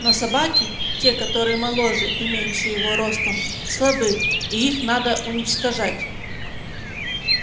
но собаки те которые моложе и меньше его ростом слабы и их надо уничтожать